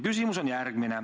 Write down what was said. Küsimus on järgmine.